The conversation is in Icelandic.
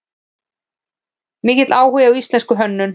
Mikill áhugi á íslenskri hönnun